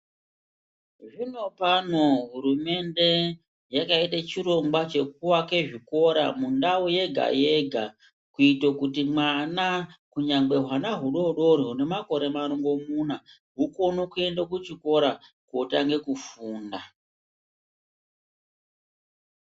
Zvinopano hurumende yakaite chirongwa chekuake zvikora mundau yega-yega, kuite kuti mwana, kunyangwe hwana hudoodori hunemakore marongomuna hukone kuende kuchikora kootange kufunda.